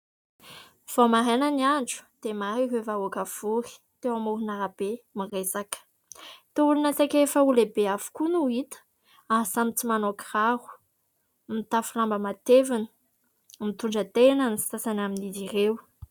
Vao maraina ny andro dia maro ireo vahoaka vory teo amoron'arabe miresaka. Toa olona saika efa ho lehibe avokoa no ho hita ary samy tsy manao kiraro. Mitafy lamba matevina, mitondra tehina ny sasany amin'izy ireo.